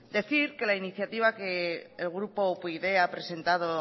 decir que la iniciativa que el grupo upyd ha presentado o